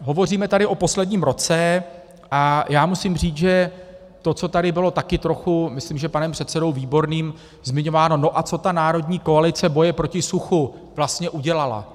Hovoříme tady o posledním roce a já musím říct, že to, co tady bylo taky trochu, myslím, že panem předsedou Výborným, zmiňováno: no a co ta národní koalice boje proti suchu vlastně udělala?